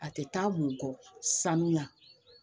A tɛ taa mukɔ sanuya